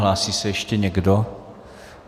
Hlásí se ještě někdo?